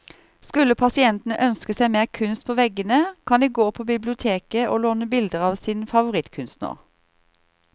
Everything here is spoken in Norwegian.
Skulle pasientene ønske seg mer kunst på veggene, kan de gå på biblioteket å låne bilder av sin favorittkunstner.